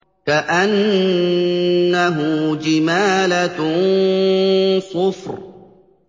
كَأَنَّهُ جِمَالَتٌ صُفْرٌ